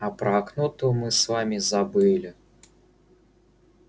а про окно то мы с вами забыли